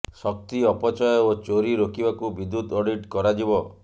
ଶକ୍ତି ଅପଚୟ ଓ ଚୋରି ରୋକିବାକୁ ବିଦ୍ୟୁତ୍ ଅଡିଟ୍ କରାଯିବ